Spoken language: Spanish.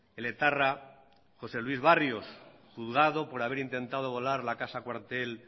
el etarra jose luis barrios juzgado por haber intentado volar la casa cuartel